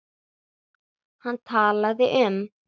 Hann talaði um